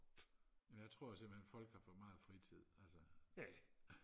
ja jeg tror simpelthen folk har for meget fritid altså